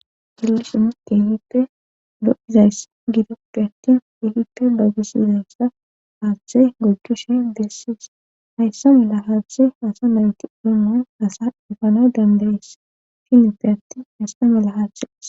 Hillisumu keehippe do'izayss gidoppe attin ehippe doogusizayssa haashathe gogjushi dessiis hayssa mela haashathe hasa naweti olomman asa infanoy dandayes finippe atti hista mela haaththes.